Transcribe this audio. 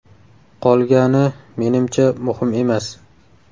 Qolgani, menimcha, muhim emas!